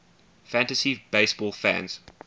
fantasy baseball fans